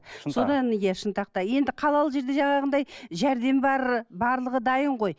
содан иә шынтақта енді қалалы жерде жаңағындай жәрдем бар барлығы дайын ғой